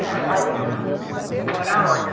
Você veio morar aonde?